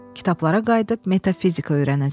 Kitablara qayıdıb metafizika öyrənəcəm.